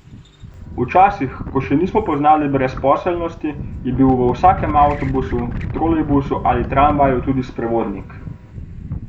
Včasih, ko še nismo poznali brezposelnosti, je bil v vsakem avtobusu, trolejbusu ali tramvaju tudi sprevodnik.